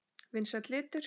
Vinsæll litur.